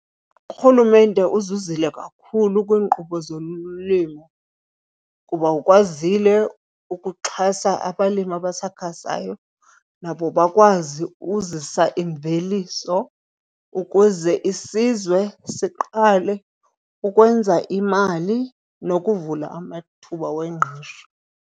Urhulumente uzuzile kakhulu kwiinkqubo zolimo kuba ukwazile ukuxhasa abalimi abasakhasayo nabo bakwazi uzisa imveliso ukuze isizwe siqale ukwenza imali nokuvula amathuba wengqesho.